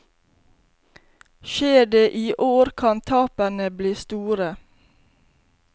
Skjer det i år, kan tapene bli store.